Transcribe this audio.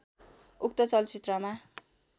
उक्त चलचित्रमा